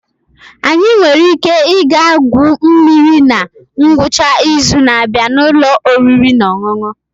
Anyị nwere ike ịga igwu mmiri na ngwụcha izu na-abịa na ụlọ oriri na ọṅụṅụ?